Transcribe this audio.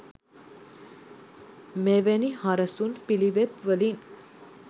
මෙවැනි හරසුන් පිළිවෙත් වලින්